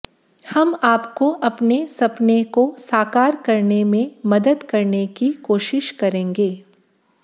हम आपको अपने सपने को साकार करने में मदद करने की कोशिश करेंगे